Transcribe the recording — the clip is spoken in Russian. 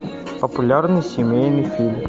популярный семейный фильм